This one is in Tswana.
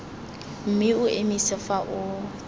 mme o emise fa o